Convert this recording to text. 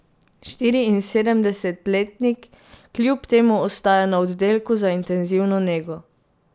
Štiriinsedemdesetletnik kljub temu ostaja na oddelku za intenzivno nego.